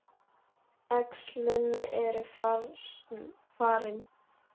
Æxlin eru farin.